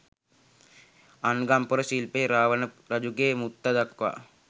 අංගම් පොර ශිල්පය රාවණ රජුගේ මුත්තා දක්වා